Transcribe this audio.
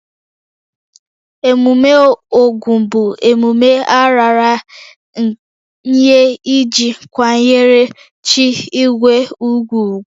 Emume Ogun bụ emume a raara nye iji kwanyere chi igwe ugwu ugwu